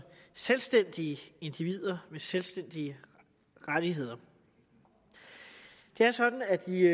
selvstændige individer med selvstændige rettigheder det er sådan at vi